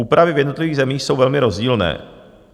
Úpravy v jednotlivých zemích jsou velmi rozdílné.